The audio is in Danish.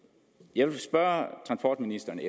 jeg vil spørge transportministeren